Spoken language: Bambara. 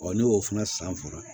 ne y'o fana san fɔlɔ